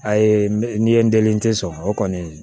A ye n ye n delite sɔrɔ o kɔni